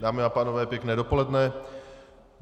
Dámy a pánové, pěkné dopoledne.